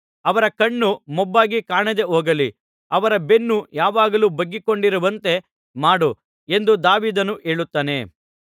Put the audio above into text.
ಅವರ ಕಣ್ಣು ಮೊಬ್ಬಾಗಿ ಕಾಣದೆಹೋಗಲಿ ಅವರ ಬೆನ್ನು ಯಾವಾಗಲೂ ಬೊಗ್ಗಿಕೊಂಡಿರುವಂತೆ ಮಾಡು ಎಂದು ದಾವೀದನು ಹೇಳುತ್ತಾನೆ